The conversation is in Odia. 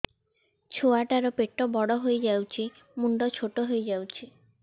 ଛୁଆ ଟା ର ପେଟ ବଡ ହେଇଯାଉଛି ମୁଣ୍ଡ ଛୋଟ ହେଇଯାଉଛି